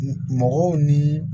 Mɔgɔw ni